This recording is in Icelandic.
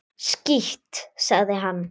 Skítt, sagði hann.